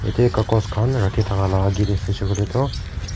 ete kakos khan rakhi thaka la agi te sai shey koi le toh.